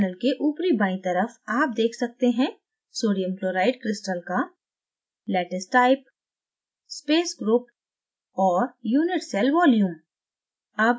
panel के ऊपरी बायीं तरफ आप देख सकते हैं: सोडियम क्लोराइड क्रिस्टल का